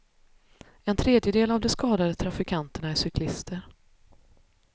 En tredjedel av de skadade trafikanterna är cyklister.